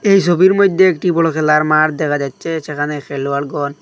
এই সবির মইধ্যে একটি বড়ো খেলার মাঠ দেখা যাচ্ছে সেখানে খেলোয়াড়গণ--